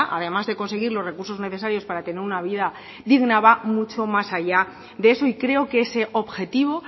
además de conseguir los recursos necesarios para tener una vida digna va mucho más allá de eso y creo que ese objetivo